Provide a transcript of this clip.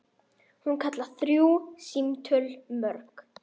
Hún kallar þrjú símtöl mörg.